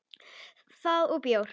Það og bjór.